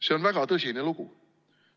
See on väga tõsine lugu.